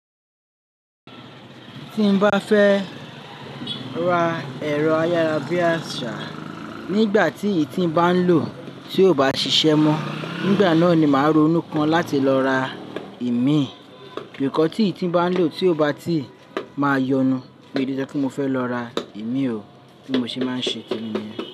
Tí n bá fẹ́ ra ẹ̀rọ ayára bí àsá, nígbà tí ìtín bá ń lò tí ò bá ṣiṣẹ́ mọ, nígbà náà ni màá ronú kan láti lọ ra ìmí. Nìkan tí ìtín bá ń lò tí ò bá ti máa yọnu pé ó jẹ́ kí mo fẹ́ lọ ra ìmí o tí mo sì máa ń ṣe temi niyen.